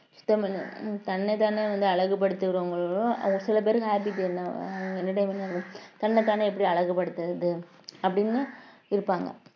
தன்னைத்தானே வந்து அழகு படுத்துறவங்களும் ஒரு சில பேருக்கு happy அஹ் entertainment ஆ இருக்கும் தன்னைத்தானே எப்படி அழகுபடுத்துறது அப்படின்னு இருப்பாங்க